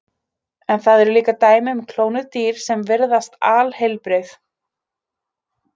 En það eru líka dæmi um klónuð dýr sem virðast alheilbrigð.